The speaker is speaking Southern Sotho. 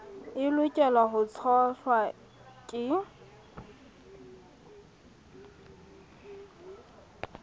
e lokelwang ho tshohlwa ke